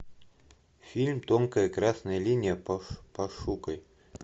фильм тонкая красная линия пошукай